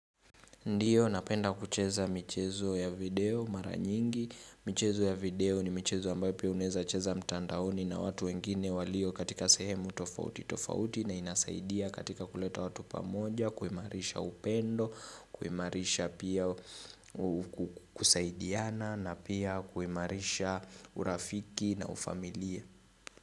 Ndiyo, napenda kucheza michezo ya video mara nyingi, michezo ya video ni michezo ambayo pia unaezacheza mtandaoni na watu wengine walio katika sehemu tofauti tofauti na inasaidia katika kuleta watu pamoja, kuimarisha upendo, kuimarisha pia kusaidiana na pia kuimarisha urafiki na ufamilia.